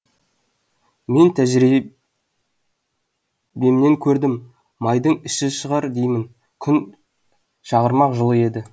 мен тәжірибемнен кердім майдың іші шығар деймін күн шағырмақ жылы еді